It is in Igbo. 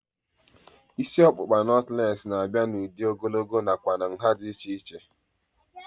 Isi ọkpụkpa nọtlees na-abịa n'udi ogologo nakwa nhá dị iche iche